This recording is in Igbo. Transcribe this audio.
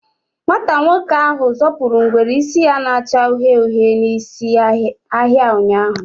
Nwata nwoke ahụ zọpụrụ ngwere isi ya na-acha uhie uhie isi n'ahịa ụnyaahụ.